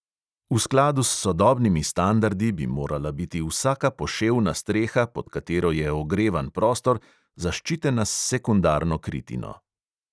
V skladu s sodobnimi standardi bi morala biti vsaka poševna streha, pod katero je ogrevan prostor, zaščitena s sekundarno kritino.